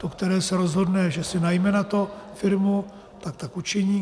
To, které se rozhodne, že si najme na to firmu, tak tak učiní.